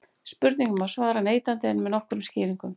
spurningunni má svara neitandi en með nokkrum skýringum